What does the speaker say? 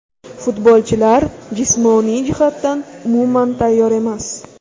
Futbolchilar jismoniy jihatdan umuman tayyor emas.